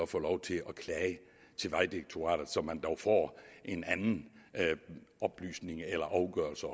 få lov til at klage til vejdirektoratet så man dog får en anden oplysning eller afgørelse